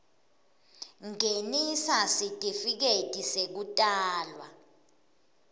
ngenisa sitifiketi sekutalwa